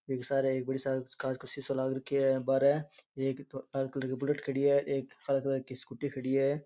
इक सारे एक बड़ी सार को कांच को सीसाे लाग रखियो है बारे बड़ो है एक बुलेट खड़ी है एक काला कलर की स्कूटी खड़ी है।